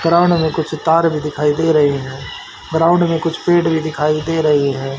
Ground में कुछ तार भी दिखाई दे रही हैं ग्राउंड में कुछ पेड़ भी दिखाई दे रही है।